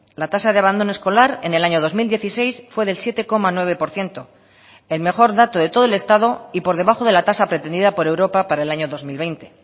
la tasa de abandono escolar en el año dos mil dieciséis fue del siete coma nueve por ciento el mejor dato de todo el estado y por debajo de la tasa pretendida por europa para el año dos mil veinte